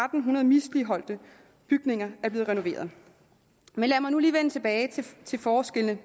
hundrede misligholdte bygninger er blevet renoveret men lad mig nu lige vende tilbage til forskellene